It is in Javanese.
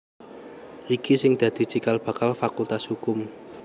iki sing dadi cikal bakal Fakultas Hukum